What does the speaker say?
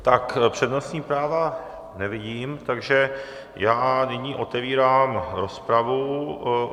Tak přednostní práva nevidím, takže já nyní otevírám rozpravu.